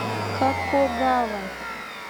какогава